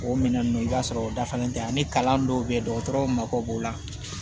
O minɛn nunnu i b'a sɔrɔ o dafalen tɛ ani kalan dɔw bɛ ye dɔgɔtɔrɔw mako b'o la